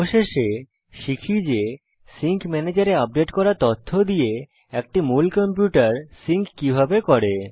অবশেষেশিখি যে সিঙ্ক ম্যানেজের এ আপডেট করা তথ্য দিয়ে একটি মূল কম্পিউটার সিঙ্ক কিভাবে করে